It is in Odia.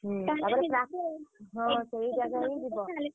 ହୁଁ ହଁ